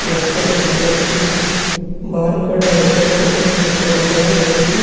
यहाँ पर एक व्यक्ति बाहर खड़ा होकर फोटो क्लिक करवा रहा है। यह एक --